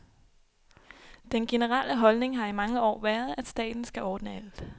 Den generelle holdning har i mange år været, at staten skal ordne alt.